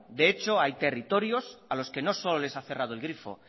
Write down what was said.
de hecho hay territorios a los que no solo les han cerrado el grifo